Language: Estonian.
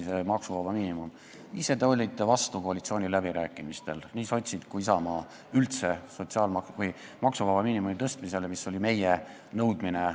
Ise te olite – nii sotsid kui ka Isamaa – koalitsiooniläbirääkimistel üldse vastu maksuvaba miinimumi tõstmisele, mis oli meie nõudmine.